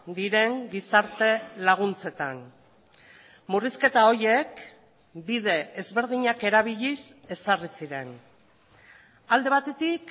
diren gizarte laguntzetan murrizketa horiek bide ezberdinak erabiliz ezarri ziren alde batetik